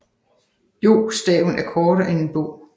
Jō staven er kortere end en bō